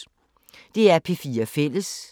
DR P4 Fælles